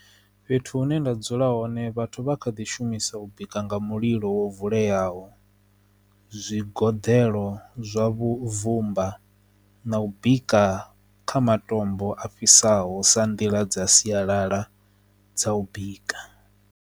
Fhethu hune nda dzula hone vhathu vha kha ḓi shumisa u bika nga mulilo wo vuleyaho zwigoḓo zwa vhuvumba tsumba na u bika kha matombo a fhisaho sa nḓila dza sialala dza u bika.